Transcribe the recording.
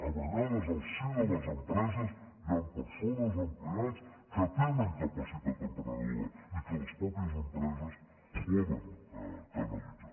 a vegades al si de les empreses hi han persones empleats que tenen capacitat emprenedora i que les mateixes empreses poden canalitzar